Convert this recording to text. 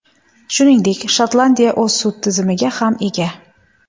Shuningdek, Shotlandiya o‘z sud tizimiga ham ega.